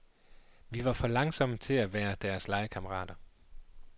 Vi var for langsomme til at være deres legekammerater.